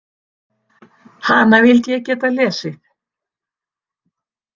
Hana vildi ég geta lesið.